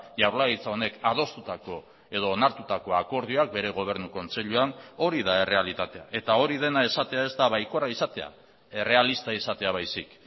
jaurlaritza honek adostutako edo onartutako akordioak bere gobernu kontseiluan hori da errealitatea eta hori dena esatea ez da baikorra izatea errealista izatea baizik